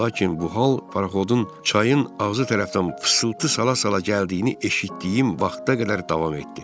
Lakin bu hal paroxodun çayın ağzı tərəfdən fısıltı sala-sala gəldiyini eşitdiyim vaxta qədər davam etdi.